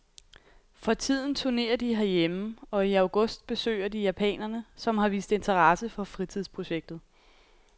For tiden turnerer de herhjemme og i august besøger de japanerne, som har vist interesse for fritidsprojektet.